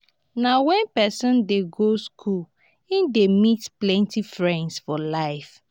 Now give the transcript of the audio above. na wen pesin dey go skool e dey meet plenty friends for life.